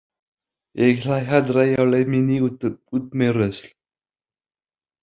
Ég hlæ aldrei á leið minni út með rusl.